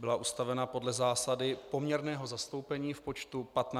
Byla ustavena podle zásady poměrného zastoupení v počtu 15 členů.